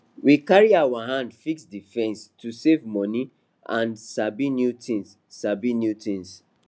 we carry our hand fix d fence to save money and sabi new thing sabi new thing